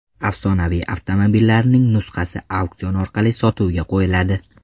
Afsonaviy avtomobillarning nusxasi auksion orqali sotuvga qo‘yiladi.